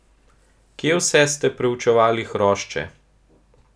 Kje vse ste preučevali hrošče?